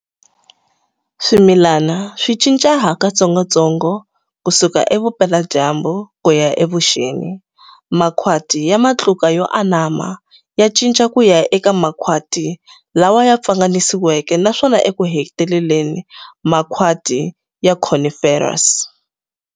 Swimilani swi cinca hakatsongotsongo kusuka evupela dyambu kuya evuxeni-makhwati ya matluka yo anama ya cinca kuya eka makhwati lawa ya pfanganisiweke naswona ekuheteleleni makhwati ya coniferous.